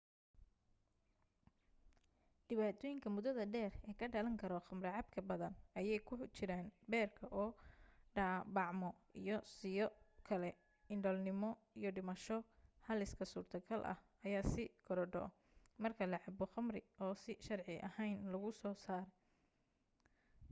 dhibaatooyinka mudada dheer ee ka dhalan karo khamro cabka badan ayee ku jiraan beerka oo dhaabacmo iyo sidoo kale indhoolnimo iyo dhimasho halista surtogalka ah ayaa sii korodho marka la cabo khamri oo si sharci ahayn lagu soo saaray